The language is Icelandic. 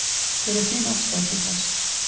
Hver er þín afstaða til þess?